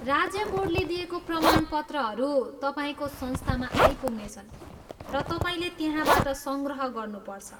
राज्य बोर्डले दिएको प्रमाणपत्रहरू तपाईँको संस्थामा आइपुग्नेछन् र तपाईँले त्यहाँबाट सङ्ग्रह गर्नुपर्छ।